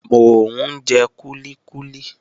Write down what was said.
Mò ń jẹ kúlíkúlí.